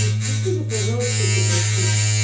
спустись уже пожалуйста я тебя прошу